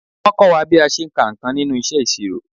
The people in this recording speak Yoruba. Wọ́n kọ́ wa bí a ṣe ń ka nǹkan nínú iṣẹ́ ìṣirò.